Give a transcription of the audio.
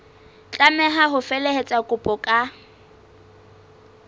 tlameha ho felehetsa kopo ka